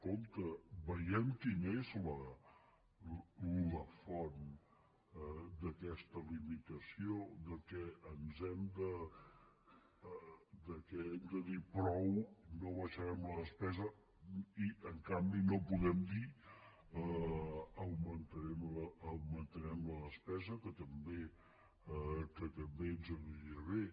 compte vegem quina és la font d’aquesta limitació que hem de dir prou no baixarem la despesa i en canvi no podem dir augmentarem la despesa que també ens aniria bé